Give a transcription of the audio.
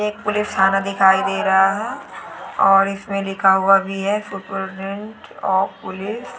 एक पुलिस थाना दिखाई दे रहा है और इसमें लिखा हुआ भी है सुपरीटेंडेंट ऑफ़ पुलिस ।